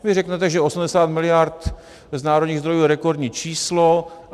Vy řeknete, že 80 mld. z národních zdrojů je rekordní číslo.